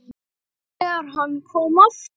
ÞEGAR HANN KOM AFTUR